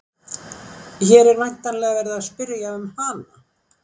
Hér er væntanlega verið að spyrja um hana.